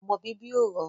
ọmọ bíbí ò rọrùn